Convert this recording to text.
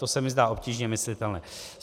To se mi zdá obtížně myslitelné.